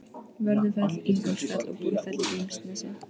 Vörðufell, Ingólfsfjall og Búrfell í Grímsnesi.